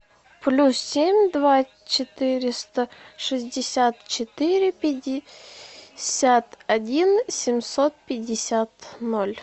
плюс семь два четыреста шестьдесят четыре пятьдесят один семьсот пятьдесят ноль